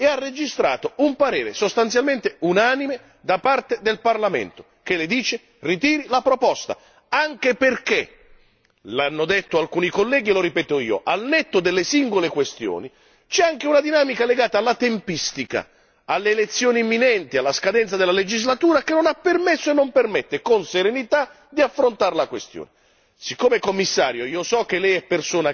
Un momento di confronto oggi lo ha avuto e ha registrato un parere sostanzialmente unanime da parte del Parlamento che le dice ritiri la proposta, anche perché lo hanno detto alcuni colleghi e lo ripeto io, al netto delle singole questioni c'è anche una dinamica legata alla tempistica, alle elezioni imminenti, alla scadenza della legislatura che non ha permesso e che non permette con serenità di affrontare la questione.